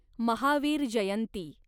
Mahavir Jayanti